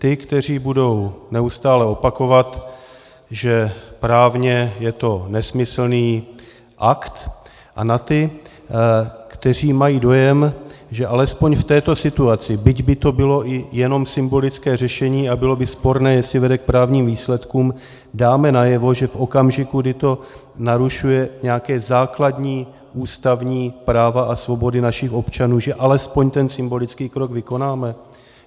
Ty, kteří budou neustále opakovat, že právně je to nesmyslný akt, a na ty, kteří mají dojem, že alespoň v této situaci, byť by to bylo i jenom symbolické řešení a bylo by sporné, jestli vede k právním výsledkům, dáme najevo, že v okamžiku, kdy to narušuje nějaká základní ústavní práva a svobody našich občanů, že alespoň ten symbolický krok vykonáme?